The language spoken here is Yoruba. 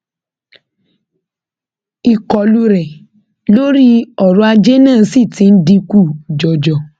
ìkọlù rẹ lórí ọrọ ajé náà sì ti ń dínkù jọjọ